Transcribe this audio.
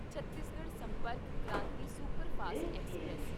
Chhattisgarh Sampark Kranti superfast express